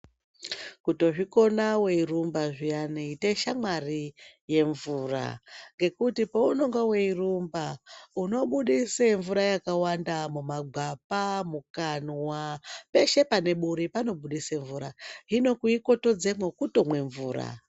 Kutozvikona wairumba zviyane ita shamwari yemvura ngokuti paunenge weirumba unobudise mvura yakawanda mumagwapa ,mukanwa ,peshe pane buri panobuda mvura ,hino kuikotodzepo kutomwe mvura.